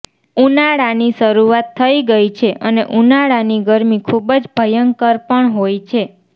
ઉનાળાની શરૂઆત થઇ ગઈ છે અને ઉનાળાની ગરમી ખુબ જ ભયંકર પણ હોય છે